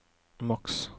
maks